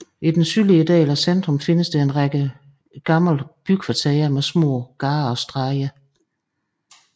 I den sydlige del af centrum findes en række ældre bykvarterer med små gader og stræder